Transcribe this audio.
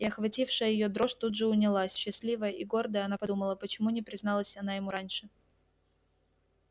и охватившая её дрожь тут же унялась счастливая и гордая она подумала почему не призналась она ему раньше